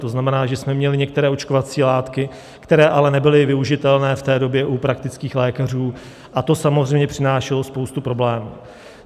To znamená, že jsme měli některé očkovací látky, které ale nebyly využitelné v té době u praktických lékařů, a to samozřejmě přinášelo spoustu problémů.